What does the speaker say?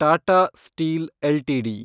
Tata Steel LTD